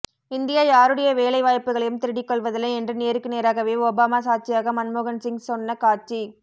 India யாருடைய வேலை வாய்ப்புகளையும் திருடிக் கொள்வதில்லை என்று நேருக்கு நேராகவே ஒபாமா சாட்சியாக மன்மோகன்சிங் சொன்ன காட்சி